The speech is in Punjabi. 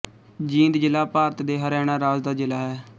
ਜੀਂਦ ਜ਼ਿਲ੍ਹਾ ਭਾਰਤ ਦੇ ਹਰਿਆਣਾ ਰਾਜ ਦਾ ਜ਼ਿਲ੍ਹਾ ਹੈ